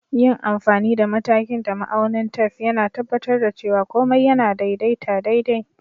Yin amfani da matakin da ma'aunin tef, yAna tabbatar da cewa komai yAna daidaita daidai.